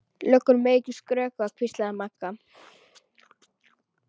Löggur mega ekki skrökva, hvíslaði Magga.